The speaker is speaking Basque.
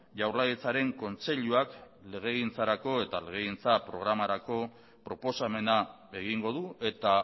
jaurlaritzaren kontseiluak legegintzarako eta legegintza programarako proposamena egingo du eta